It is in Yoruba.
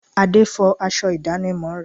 Ade fọ aṣọ ìdánimọ̀ rẹ̀